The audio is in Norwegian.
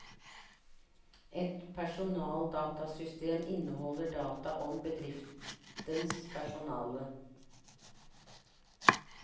Et personaldatasystem inneholder data om bedriftens personale.